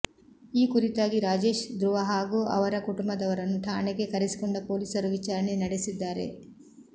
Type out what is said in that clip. ಈ ಕುರಿತಾಗಿ ರಾಜೇಶ್ ಧ್ರುವ ಹಾಗೂ ಅವರ ಕುಟುಂಬದವರನ್ನು ಠಾಣೆಗೆ ಕರೆಸಿಕೊಂಡ ಪೊಲೀಸರು ವಿಚಾರಣೆ ನಡೆಸಿದ್ದಾರೆ